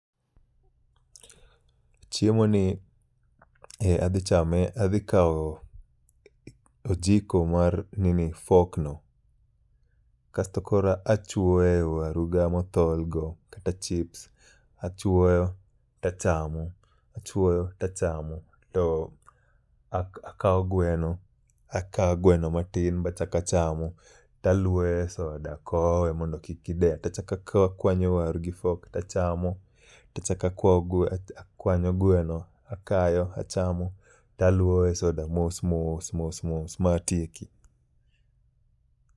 Chiemo ni adhi chame, adhi kawo ojiko mar fork no. Kasto koro achwoyo e waru ga mothol go kata chips. Achwoyo tachamo, achwoyo tachamo to ak akawo gweno, akawo gweno matin bachaka chamo. Taluoyo e soda kowe mondo kik gideya. Tachaka kawo akwanyo waru gi fork tachamo. Tachaka kwao gwe akwanyo gweno akayo achamo talwowe soda mos mos mos mos ma atieki.